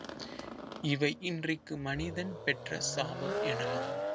இவை இன்றைக்கு மனிதன் பெற்ற சாபம் எனலாம்